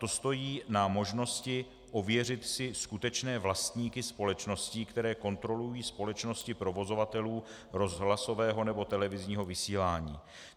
To stojí na možnosti ověřit si skutečné vlastníky společností, které kontrolují společnosti provozovatelů rozhlasového nebo televizního vysílání.